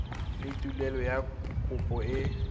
le tuelo ya kopo e